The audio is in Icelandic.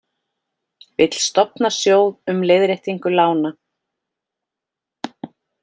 Vill stofna sjóð um leiðréttingu lána